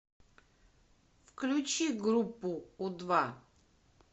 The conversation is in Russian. включи группу у два